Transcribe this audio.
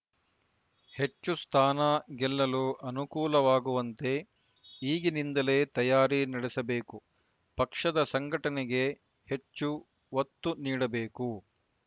ಹೆಚ್ಚು ಸ್ಥಾನ ಗೆಲ್ಲಲು ಅನುಕೂಲವಾಗುವಂತೆ ಈಗಿನಿಂದಲೇ ತಯಾರಿ ನಡೆಸಬೇಕು ಪಕ್ಷದ ಸಂಘಟನೆಗೆ ಹೆಚ್ಚು ಒತ್ತು ನೀಡಬೇಕು